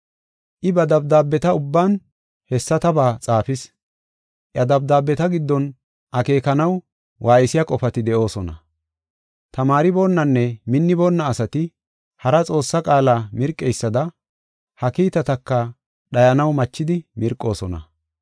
I ba dabdaabeta ubban hessataba xaafis. Iya dabdaabeta giddon akeekanaw waaysiya qofati de7oosona. Tamaariboonnanne minniboonna asati hara Xoossaa qaala mirqeysada ha kiitataka dhayanaw machidi mirqoosona.